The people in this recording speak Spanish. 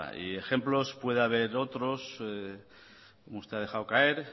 y ejemplos puede haber otros como usted ha dejado caer